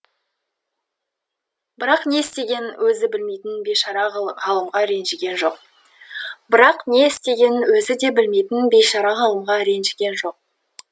бірақ не істегенің өзі де білмейтін бейшара ғалымға ренжіген жоқ бірақ не істегенің өзі де білмейтін бейшара ғалымға ренжіген жоқ